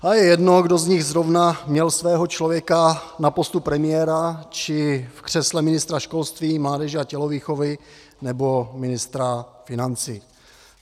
A je jedno, kdo z nich zrovna měl svého člověka na postu premiéra či v křesle ministra školství, mládeže a tělovýchovy nebo ministra financí.